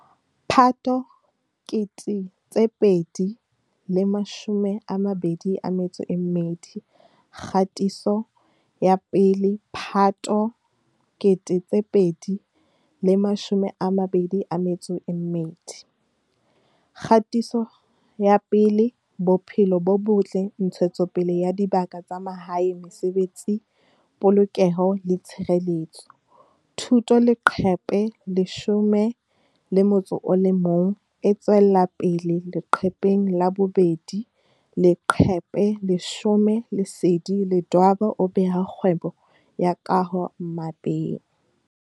Phato 2022 Kgatiso 1 Phato 2022 Kgatiso 1Bophelo bo Botle Ntshetsopele ya Dibaka tsa Mahae Mesebetsi Polokeho le Tshireletso Thuto Leqephe 11E tswella pele leqepheng la 2Leqephe 10Lesedi Ledwaba o beha kgwebo ya kaho mmapeng